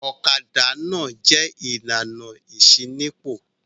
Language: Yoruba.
Ọ̀kadà náà jẹ̀ ìlànà ìṣínípò.